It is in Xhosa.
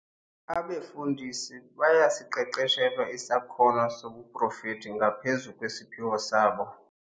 Abefundisi bayasiqeqeshelwa isakhono sobuprofethi ngaphezu kwesiphiwo sabo.